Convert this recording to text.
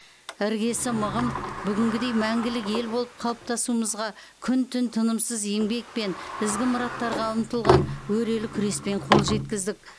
іргесі мығым бүгінгідей мәңгілік ел болып қалыптасуымызға күн түн тынымысыз еңбек пен ізгі мұраттарға ұмтылған өрелі күреспен қол жеткіздік